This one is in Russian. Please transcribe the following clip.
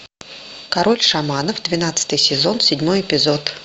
король шаманов двенадцатый сезон седьмой эпизод